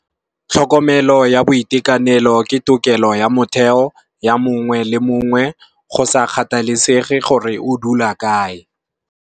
Tlhokomelo ya boitekanelo ke tokelo ya motheo ya mongwe le mongwe go sa kgathalesege gore o dula kae.